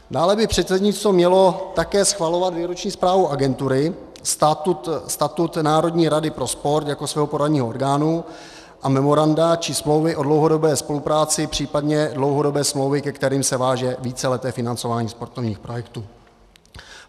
Dále by předsednictvo mělo také schvalovat výroční zprávu agentury, statut národní rady pro sport jako svého poradního orgánu a memoranda či smlouvy o dlouhodobé spolupráci, případně dlouhodobé smlouvy, ke kterým se váže víceleté financování sportovních projektů.